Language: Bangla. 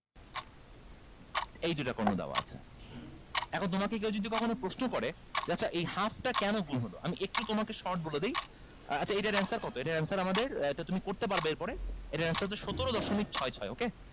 এই দুইটা কর্ণ দেওয়া আছে এখন তোমাকে কেউ যদি কখনো প্রশ্ন করে যে আচ্ছা এই half টা কেনো গুন হলো আমি একটু তোমাকে short বলে দেই আহ আচ্ছা এইটার answer কত এইটার answer আমাদের আহ এটা তুমি করতে পারবা এর পরে এটার answer হচ্ছে সতেরো দশমিক ছয় ছয়